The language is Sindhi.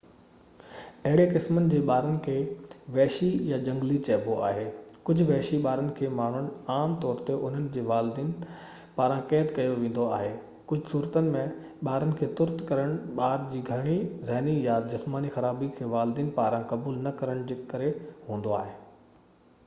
اهڙي قسمن جي ٻارن کي وحشي يا جهنگلي چئبو آهي. ڪجهہ وحشي ٻارن کي ماڻهن عام طور تي انهن جي والدين پاران قيد ڪيو ويندو آهي. ڪجهہ صورتن ۾ ٻارن کي ترڪ ڪرڻ ٻار جي گهڻي ذهني يا جسماني خرابي کي والدين پاران قبول نه ڪرڻ جي ڪري هوندو آهي